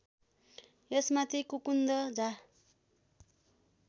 यसमाथि कुकुन्द झा